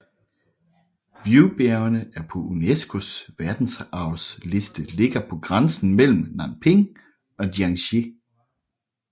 Wuyibjergene der er på UNESCOs Verdensarvsliste ligger på grænsen mellem Nanping og Jiangxi